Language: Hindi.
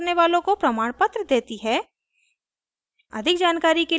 ऑनलाइन टेस्ट पास करने वालों को प्रमाणपत्र देती है